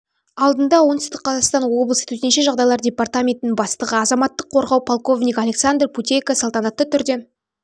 алдында оңтүстік қазақстан облысы төтенше жағдайлар департаментінің бастығы азаматтық қорғау полковнигі александр путейко салтанатты түрде